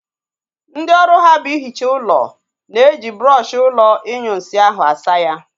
Ndị ọrụ ha bụ ihicha ụlọ na-eji brọọshi ụlọ inyunsi ahụ asa ya